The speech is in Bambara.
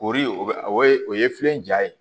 Ori o bɛ o ye filɛli ja ye